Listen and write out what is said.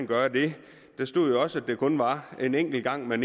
gøre det der stod også at det kun var en enkelt gang man